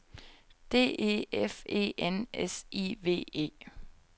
D E F E N S I V E